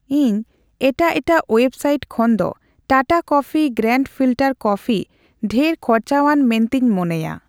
ᱤᱧ ᱮᱴᱟᱜ ᱮᱴᱟᱜ ᱳᱭᱮᱵᱽᱥᱟᱹᱭᱤᱴ ᱠᱷᱚᱱᱫᱚ Tata coffee grand filter coffee ᱰᱷᱮᱨ ᱠᱷᱚᱨᱪᱟᱣᱟᱱ ᱢᱮᱱᱛᱮᱧ ᱢᱚᱱᱮᱭᱟ